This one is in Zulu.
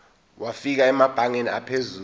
wafika emabangeni aphezulu